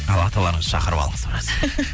ал аталарыңызды шақырып алыңыз біраз